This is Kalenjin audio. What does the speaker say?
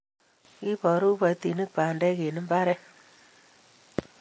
kiborroru kiboitinik bandek eng' mbaret